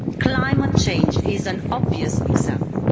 Climate change is an obvious example.